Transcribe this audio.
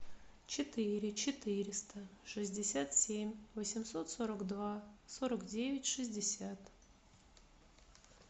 четыре четыреста шестьдесят семь восемьсот сорок два сорок девять шестьдесят